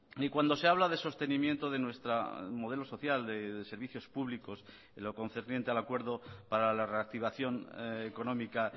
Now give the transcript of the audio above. ni cuando se habla de sostenimiento de nuestra modelo social de servicios públicos en lo concerniente al acuerdo para la reactivación económica